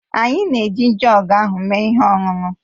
Anyị na-eji joọg ahụ mee ihe ọṅụṅụ